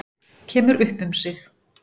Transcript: Kemur upp um sig.